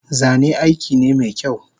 Zane aikine mekyau